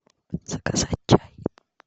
заказать чай